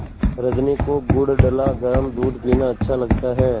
रजनी को गुड़ डला गरम दूध पीना अच्छा लगता है